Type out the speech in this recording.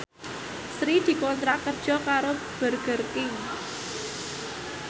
Sri dikontrak kerja karo Burger King